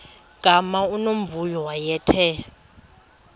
gama unomvuyo wayethe